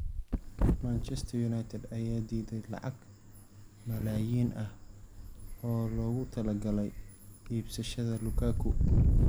Manchester United ayaa diiday lacag malaayiin ah oo loogu talagalay iibsashada Lukaku.